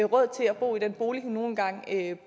råd til at bo i den bolig hun nu engang